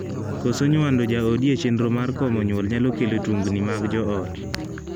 Koso nywando jaodi e chenro mar komo nyuol nyalo kelo tungni mag joot.